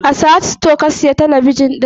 A Sahad stores ka siya talabijin ɗin?